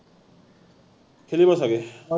খেলিব চাগে